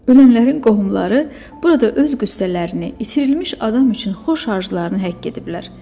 Ölənlərin qohumları burada öz qüssələrini, itirilmiş adam üçün xoş arzularını həkk ediblər.